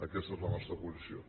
aquesta és la nostra posició